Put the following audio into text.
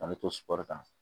An bɛ to sukɔrɔnin kan